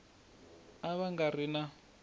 a va nga ri na